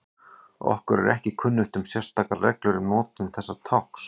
Okkur er ekki kunnugt um sérstakar reglur um notkun þessa tákns.